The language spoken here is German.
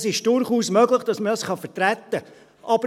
Es ist durchaus möglich, dass man das vertreten kann.